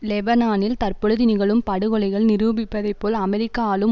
லெபனானில் தற்பொழுது நிகழும் படுகொலைகள் நிரூபிப்பதைப்போல் அமெரிக்க ஆளும்